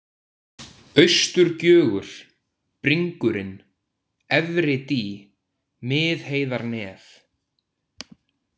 Austurgjögur, Bringurinn, Efri-Dý, Miðheiðarnef